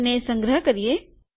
તેને સંગ્રહ કરીએ